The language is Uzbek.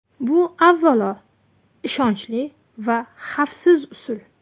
Bu avvalo, ishonchli va xavfsiz usul.